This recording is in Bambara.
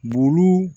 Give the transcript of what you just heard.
Bugu